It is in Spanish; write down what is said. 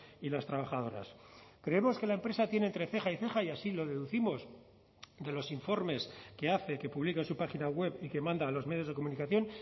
y las trabajadoras creemos que la empresa tiene entre ceja y ceja y así lo deducimos de los informes que hace que publica en su página web y que manda a los medios de comunicación